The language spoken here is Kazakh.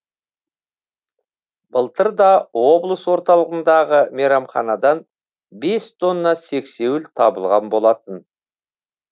былтыр да облыс орталығындағы мейрамхандан бес тонна сексеуіл табылған болатын